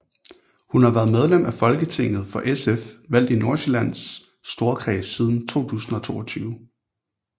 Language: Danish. Hun var været medlem af Folketinget for SF valgt i Nordsjællands Storkreds siden 2022